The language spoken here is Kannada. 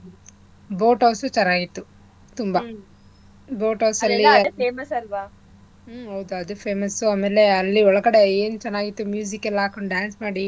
Boat house ಉ ಚೆನ್ನಾಗಿತ್ತು ತುಂಬಾ boat house ಅಲ್ಲಿ ಹುಮ್ಮ್ ಹೌದು ಅದು famous ಆಮೇಲೆ ಅಲ್ಲಿ ಒಳಗಡೆ ಎನ್ಚೆನ್ನಾಗಿತ್ತು ಎಲ್ಲಾ ಹಾಕ್ಕೊಂಡ್ dance ಮಾಡಿ.